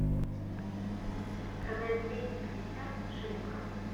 продать двести пятьдесят шиллингов